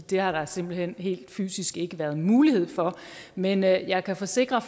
det har der simpelt hen helt fysisk ikke været mulighed for men jeg jeg kan forsikre